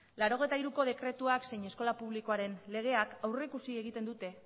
laurogeita hiruko dekretuak zein eskola publikoaren legeak aurreikusi egiten dute